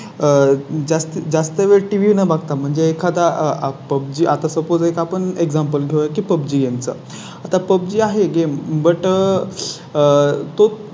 आह जास्तीत जास्त वेळ टीव्ही न बघता म्हणजे एखादा आता Suppose एक आपण एग्झांपल घ्या की पबजी Game चं आता पब्जी आहे. Game but आह